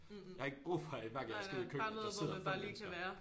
Jeg har ikke brug for at hver gang jeg skal ud i køkkenet at der sidder 5 mennesker